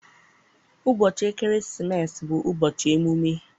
Ụbọchị ekeresimesi bụ ụbọchị emume.